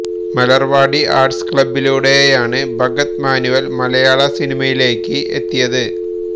Malarvadi arts ക്ലബ്ബിലൂടെയാണ് ഭഗത് മാനുവൽ മലയാള സിനിമയിലേക്ക് എത്തിയത്